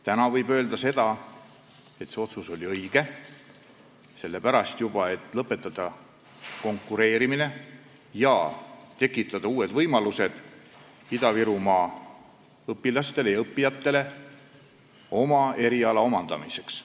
Täna võib öelda, et see otsus oli õige, juba sellepärast, et lõpetada konkureerimine ja tekitada Ida-Virumaal õppijatele uued võimalused eriala omandamiseks.